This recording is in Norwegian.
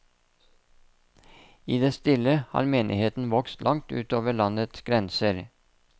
I det stille har menigheten vokst langt ut over landets grenser.